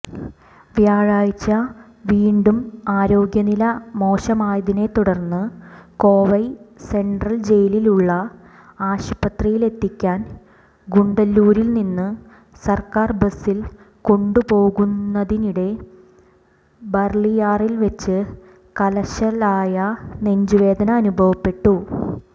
വ്യാഴാഴ്ച വീണ്ടും ആരോഗ്യനില മോശമായതിനെത്തുടർന്ന് കോവൈ സെൻട്രൽ ജയിലിലുള്ള ആശുപത്രിയിലെത്തിക്കാൻ ഗൂഡല്ലൂരിൽനിന്ന് സർക്കാർബസിൽ കൊണ്ടുപോവുന്നതിനിടെ ബർളിയാറിൽവെച്ച് കലശലായ നെഞ്ചുവേദന അനുഭവപ്പെട്ടു